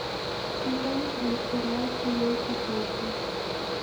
сезон три сериал семейка тофу